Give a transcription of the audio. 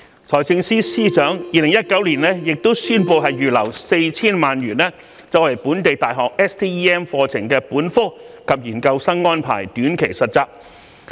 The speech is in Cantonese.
財政司司長亦於2019年宣布預留 4,000 萬元，為本地大學 STEM 課程本科及研究生安排短期實習。